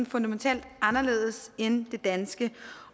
fundamentalt anderledes end det danske